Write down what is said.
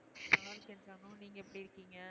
நல்லா இருக்கேன் ஜானு நீங்க எப்படி இருக்கீங்க?